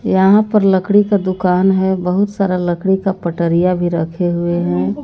यहां पर लकड़ी का दुकान है बहुत सारा लकड़ी का पटरिया भी रखे हुए हैं।